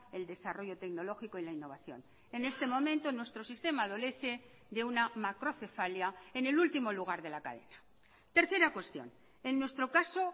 el desarrollo tecnológico y la innovación en este momento nuestro sistema adolece de una macrocefalia en el último lugar de la cadena tercera cuestión en nuestro caso